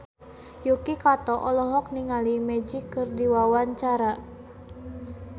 Yuki Kato olohok ningali Magic keur diwawancara